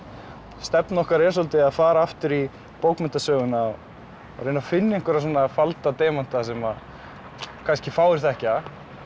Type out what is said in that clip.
stefna okkar er svolítið að fara aftur í bókmenntasöguna og reyna að finna einhverja svona falda demanta sem að kannski fáir þekkja